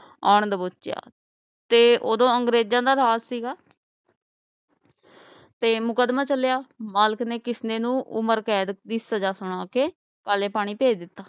ਆਂ ਦਬੋਚਿਆ ਤੇ ਉਹਦੋਂ ਅੰਗਰੇਜਾਂ ਦਾ ਰਾਜ ਸੀਗਾ ਤੇ ਮੁਕਦਮਾ ਚਲਿਆ ਮਾਲਕ ਨੇ ਕਿਸਨੇ ਨੂੰ ਉਮਰ ਕੈਦ ਦੀ ਸਜਾ ਸੁਣਾ ਕੇ ਕਾਲੇ ਪਾਣੀ ਭੇਜ ਦਿਤਾ